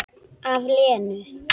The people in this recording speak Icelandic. Af Lenu.